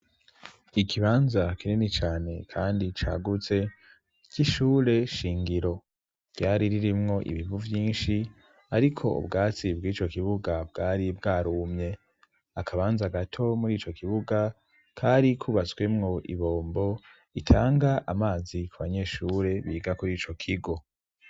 Ikibanza kinini cane kandi cagutse c'ishure shingiro ryari ririmwo ibivu byinshi ariko ubwatsi bw'ico kibuga bwari bwarumye akabanza gato muri ico kibuga kari kubatswemwo ibombo itanga amazi ku banyeshure biga kuri ico kigo.